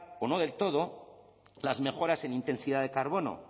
o no del todo las mejoras en intensidad de carbono